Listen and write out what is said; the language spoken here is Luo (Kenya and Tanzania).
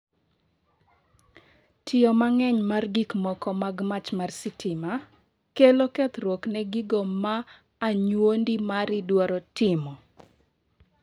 Tiyo mang; eny mar gikmoko mag mach mar stima kelo kethruok ne gigo ma anyuondi mari dwaro timo?